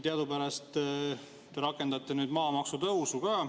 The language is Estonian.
Teadupärast te rakendate nüüd maamaksutõusu ka.